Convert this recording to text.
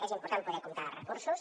és important poder comptar amb recursos